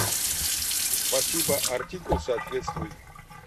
спасибо артикул соответствует